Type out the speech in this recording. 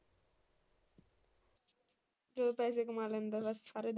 ਜਦੋਂ ਪੈਸੇ ਕਮਾ ਲੈਂਦਾ ਹੈ ਬਸ ਸਾਰੇ,